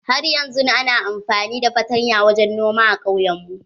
Har yanzun ana amfani da fartanya wajen noma a kauyen mu.